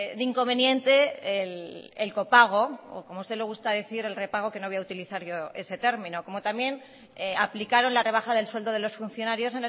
de inconveniente el copago o como usted le gusta decir el repago que no voy a utilizar yo ese término como también aplicaron la rebaja del sueldo de los funcionarios